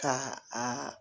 Ka a